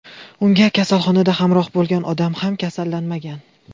Unga kasalxonada hamroh bo‘lgan odam ham kasallanmagan.